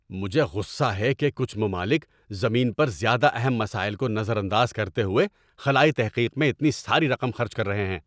مجھے غصہ ہے کہ کچھ ممالک زمین پر زیادہ اہم مسائل کو نظر انداز کرتے ہوئے خلائی تحقیق میں اتنی ساری رقم خرچ کر رہے ہیں۔